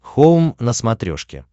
хоум на смотрешке